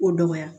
Ko dɔgɔya